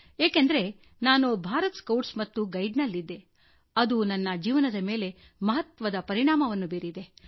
ಏಕೆಂದರೆ ನಾನು ಭಾರತ್ ಸ್ಕೌಟ್ಸ್ ಮತ್ತು ಗೈಡ್ಸ್ ನಲ್ಲಿದ್ದೆ ಅದು ನನ್ನ ಜೀವನದ ಮೇಲೆ ಮಹತ್ವದ ಪರಿಣಾಮವನ್ನು ಬೀರಿದೆ